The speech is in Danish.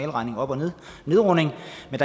er